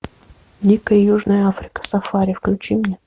дикая южная африка сафари включи мне